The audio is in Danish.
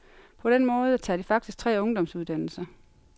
På den måde tager de faktisk tre ungdomsuddannelser.